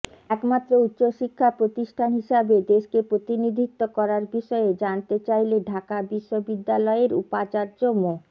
একমাত্র উচ্চশিক্ষা প্রতিষ্ঠান হিসাবে দেশকে প্রতিনিধিত্ব করার বিষয়ে জানতে চাইলে ঢাকা বিশ্ববিদ্যালয়ের উপাচার্য মো